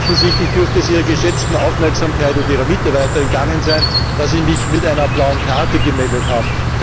Offensichtlich dürfte es Ihrer geschätzten Aufmerksamkeit und der Ihrer Mitarbeiter entgangen sein, dass ich mich mit einer blauen Karte gemeldet habe.